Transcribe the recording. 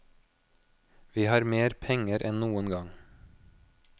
Vi har mer penger enn noen gang.